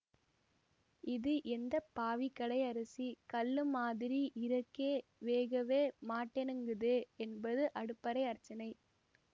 இது எந்த பாவி கடை அரிசி கல்லு மாதிரி இரக்கே வேகவே மாட்டேனெங்குதே என்பது அடுப்பறை அர்ச்சனை